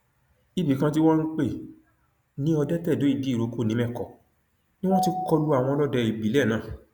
ibì kan tí wọn ń pè ní ọdẹtẹdóìdíìrókò nìmẹkọ ni wọn ti kọ lu àwọn ọlọdẹ ìbílẹ náà